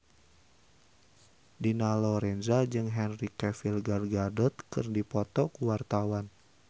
Dina Lorenza jeung Henry Cavill Gal Gadot keur dipoto ku wartawan